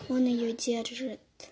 он её держит